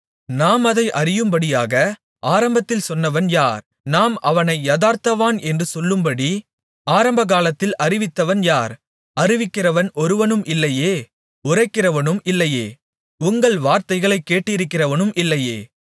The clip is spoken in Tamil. நாம் அதை அறியும்படியாக ஆரம்பத்தில் சொன்னவன் யார் நாம் அவனை யதார்த்தவான் என்று சொல்லும்படி ஆரம்பகாலத்தில் அறிவித்தவன் யார் அறிவிக்கிறவன் ஒருவனும் இல்லையே உரைக்கிறவனும் இல்லையே உங்கள் வார்த்தைகளைக் கேட்டிருக்கிறவனும் இல்லையே